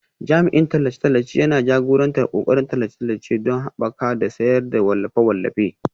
Jami'in tallace-tallace yana jagorantar ƙoƙarin tallace-tallace don haɓakawa da sayar da wallafe-wallafe